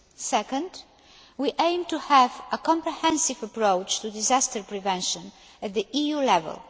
Second, we aim to have a comprehensive approach to disaster prevention at EU level.